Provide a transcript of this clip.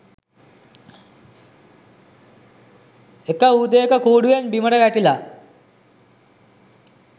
එක උදේක කූඩුවෙන් බිමට වැටිලා